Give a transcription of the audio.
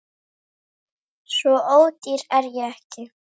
Svo ódýr er ég ekki